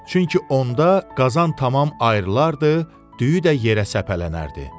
Çünki onda qazan tamam ayrılardı, düyü də yerə səpələnərdi.